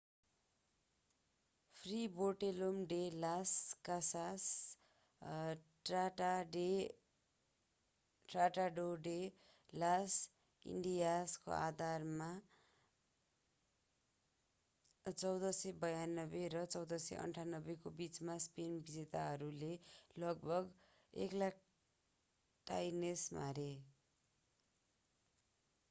फ्रे Bartolome de las Casas Tratado de las इन्डियासको आधारमा 1492 र 1498को बिचमा स्पेनी विजेताहरूले लगभग 100,000 टाइनोस मारे।